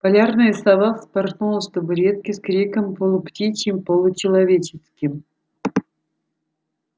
полярная сова вспорхнула с табуретки с криком полуптичьим-получеловеческим